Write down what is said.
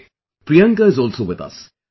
Ok, Priyanka is also with us